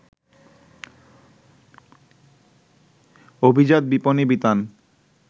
অভিজাত বিপণিবিতান